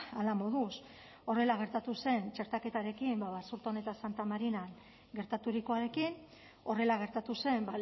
hala moduz horrela gertatu zen txertaketarekin basurton eta santa marinan gertaturikoarekin horrela gertatu zen